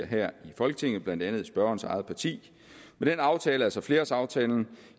her i folketinget blandt andet spørgerens eget parti med den aftale altså flerårsaftalen